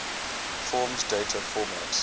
forms data format